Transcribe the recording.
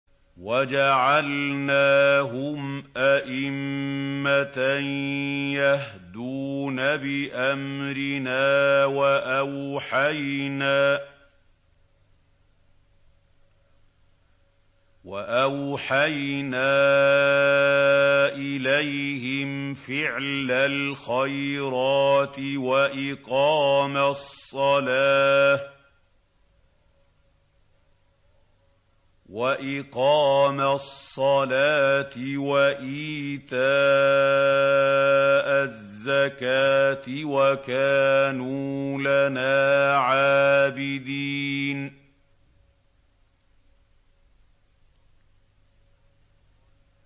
وَجَعَلْنَاهُمْ أَئِمَّةً يَهْدُونَ بِأَمْرِنَا وَأَوْحَيْنَا إِلَيْهِمْ فِعْلَ الْخَيْرَاتِ وَإِقَامَ الصَّلَاةِ وَإِيتَاءَ الزَّكَاةِ ۖ وَكَانُوا لَنَا عَابِدِينَ